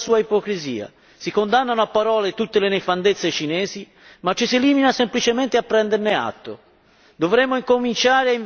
L'Unione europea manifesta tutta la sua ipocrisia, si condannano a parole tutte le nefandezze cinesi, ma ci si limita semplicemente a prenderne atto.